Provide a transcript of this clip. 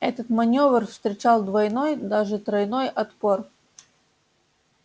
этот манёвр встречал двойной даже тройной отпор